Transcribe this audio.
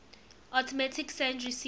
automatic send receive